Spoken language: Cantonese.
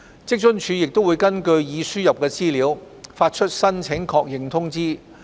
職津處會根據已輸入的資料發出申請確認通知。